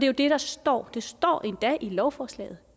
jo det der står det står endda i lovforslaget